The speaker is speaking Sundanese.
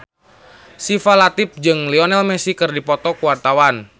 Syifa Latief jeung Lionel Messi keur dipoto ku wartawan